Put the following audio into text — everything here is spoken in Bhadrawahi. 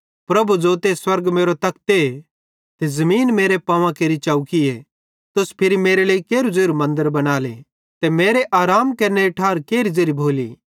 प्रभु ज़ोते स्वर्ग मेरो तखते ते ज़मीन मेरे पांवां केरि चौकीए तुस फिरी मेरे लेइ केरू ज़ेरू मन्दर बनाले ते मेरे आराम केरनेरी ठार केरही ज़ेरी भोली